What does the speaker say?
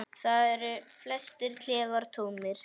Þar eru flestir klefar tómir.